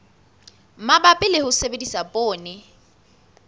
mabapi le ho sebedisa poone